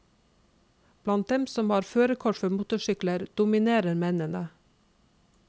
Blant dem som har førerkort for motorsykler, dominerer mennene.